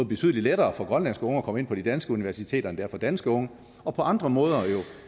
betydelig lettere for grønlandske unge at komme ind på de danske universiteter end det er for danske unge og på andre måder